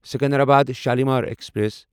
Secunderabad Shalimar express